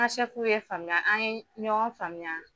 N ga sɛfu ye n faamuya an ye ɲɔgɔn faamuya